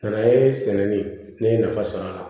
N'an ye sɛnɛ de ne ye nafa sɔrɔ a la